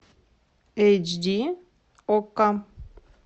эйч ди окко